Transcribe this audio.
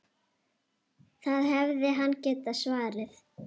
Það hefði hann getað svarið.